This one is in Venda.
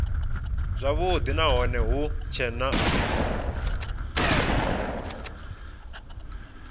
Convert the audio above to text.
zwavhudi nahone hu tshee na